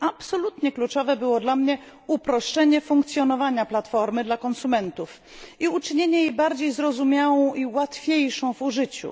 Absolutnie kluczowe było dla mnie uproszczenie funkcjonowania platformy dla konsumentów i uczynienie jej bardziej zrozumiałą i łatwiejszą w użyciu.